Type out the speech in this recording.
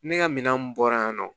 Ne ka minan mun bɔra yan nɔ